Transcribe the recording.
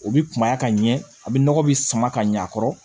O bi kumaya ka ɲɛ a bi nɔgɔ be sama ka ɲɛ a kɔrɔ